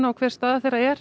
og hver staðan er